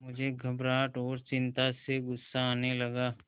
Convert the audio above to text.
मुझे घबराहट और चिंता से गुस्सा आने लगा